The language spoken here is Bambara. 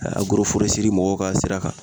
mɔgɔw ka sira kan.